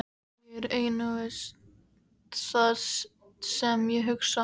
Ég er einungis það sem ég hugsa.